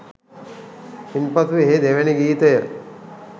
ඉන්පසු එහි දෙවැනි ගීතය